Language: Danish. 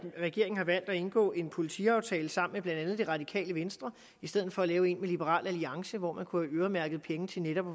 regeringen har valgt at indgå en politiaftale sammen med blandt andet det radikale venstre i stedet for at lave en med liberal alliance hvor man kunne have øremærket penge til netop at